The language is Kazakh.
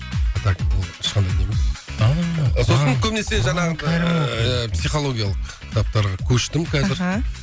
а так бұл ешқандай не емес ааа сосын көбінесі жаңағы психологиялық кітаптарға көштім қазір аха